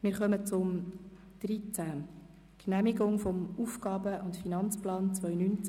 Wir kommen zu Kapitel 13, zur Genehmigung des AFP 2019– 2021.